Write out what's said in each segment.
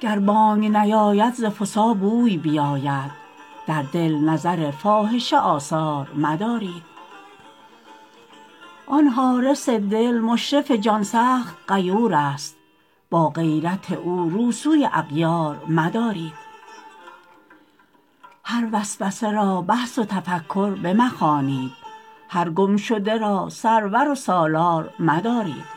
گر بانگ نیاید ز فسا بوی بیاید در دل نظر فاحشه آثار مدارید آن حارس دل مشرف جان سخت غیورست با غیرت او رو سوی اغیار مدارید هر وسوسه را بحث و تفکر بمخوانید هر گمشده را سرور و سالار مدارید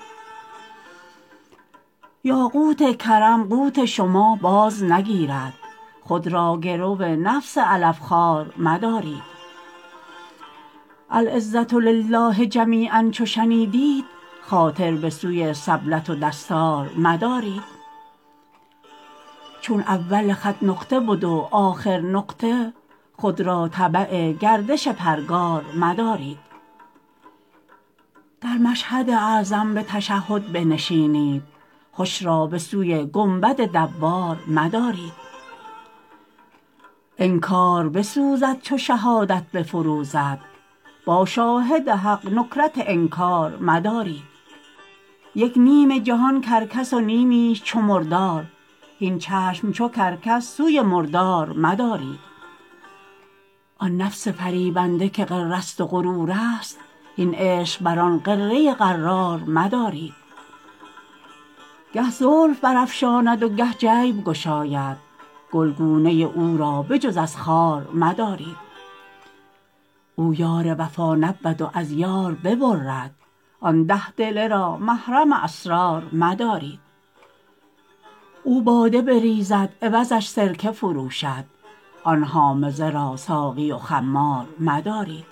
یاقوت کرم قوت شما بازنگیرد خود را گرو نفس علف خوار مدارید العزه لله جمیعا چو شنیدیت خاطر به سوی سبلت و دستار مدارید چون اول خط نقطه بد و آخر نقطه خود را تبع گردش پرگار مدارید در مشهد اعظم به تشهد بنشینید هش را به سوی گنبد دوار مدارید انکار بسوزد چو شهادت بفروزد با شاهد حق نکرت انکار مدارید یک نیم جهان کرکس و نیمیش چو مردار هین چشم چو کرکس سوی مردار مدارید آن نفس فریبنده که غرست و غرورست هین عشق بر آن غره غرار مدارید گه زلف برافشاند و گه جیب گشاید گلگونه او را به جز از خار مدارید او یار وفا نبود و از یار ببرد آن ده دله را محرم اسرار مدارید او باده بریزد عوضش سرکه فروشد آن حامضه را ساقی و خمار مدارید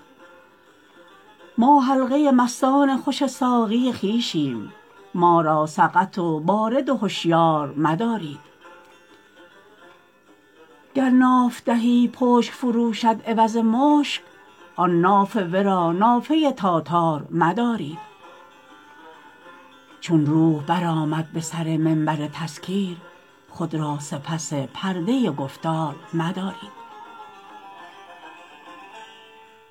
ما حلقه مستان خوش ساقی خویشیم ما را سقط و بارد و هشیار مدارید گر ناف دهی پشک فروشد عوض مشک آن ناف ورا نافه تاتار مدارید چون روح برآمد به سر منبر تذکیر خود را سپس پرده گفتار مدارید